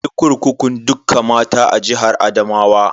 Akwai kurkukun dukka mata a jihar Adamawa.